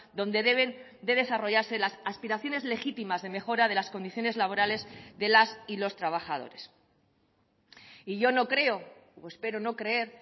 donde deben de desarrollarse las aspiraciones legítimas de mejora de las condiciones laborales de las y los trabajadores y yo no creo o espero no creer